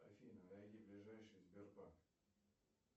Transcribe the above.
афина найди ближайший сбербанк